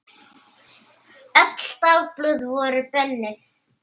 Öll dagblöð voru bönnuð.